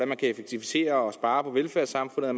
man kan effektivisere og spare på velfærdssamfundet at